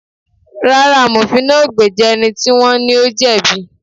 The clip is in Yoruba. Rárá, Amofin náà ò gbéjà ẹni tí wón ní ó jẹ̀bi